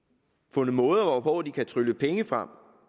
fundet måder hvorpå de kan trylle penge frem